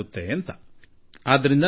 ನೋಡೋಣ ಏನಾಗುತ್ತದೆ ಆಗಲಿ ಎಂದೆ